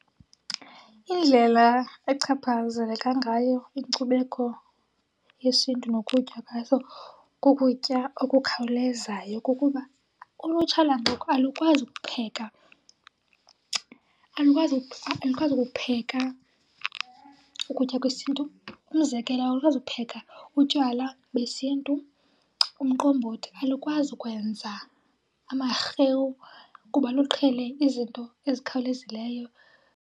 Indlela echaphazeleka ngayo inkcubeko yesiNtu nokutya kwazo kukutya okukhawulezayo kukuba ulutsha lwangoku alukwazi kupheka. Alukwazi kupheka ukutya kwesiNtu. Umzekelo alukwazi kupheka utywala besiNtu umqombothi. Alukwazi kwenza amarhewu kuba luqhele izinto ezikhawulezileyo.